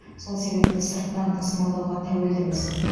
сол себепті сырттан тасымалдауға тәуелдіміз